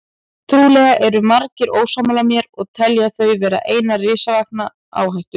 Trúlega eru margir ósammála mér og telja þau vera eina risavaxna áhættu.